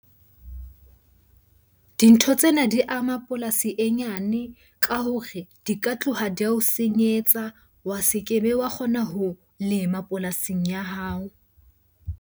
Dintho tsena di ama polasi e nyane ka hore di ka tloha di ao senyetsa. Wa se kebe wa kgona ho lema polasing ya hao.